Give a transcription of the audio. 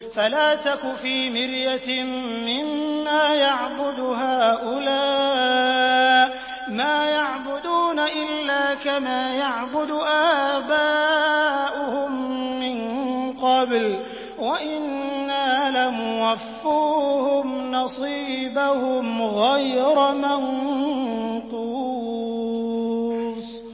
فَلَا تَكُ فِي مِرْيَةٍ مِّمَّا يَعْبُدُ هَٰؤُلَاءِ ۚ مَا يَعْبُدُونَ إِلَّا كَمَا يَعْبُدُ آبَاؤُهُم مِّن قَبْلُ ۚ وَإِنَّا لَمُوَفُّوهُمْ نَصِيبَهُمْ غَيْرَ مَنقُوصٍ